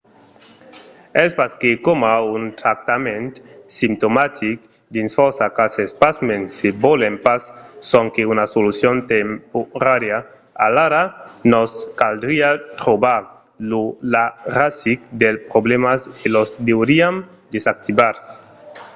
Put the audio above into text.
es pas que coma un tractament simptomatic dins fòrça cases. pasmens se volèm pas sonque una solucion temporària alara nos caldriá trobar la rasic dels problèmas e los deuriam desactivar